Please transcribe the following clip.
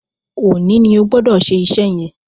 Òní ní Ogbodo ṣe iṣé yén!